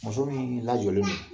Muso miin lajɔlen do